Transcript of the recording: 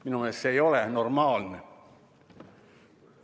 Minu meelest ei ole see normaalne.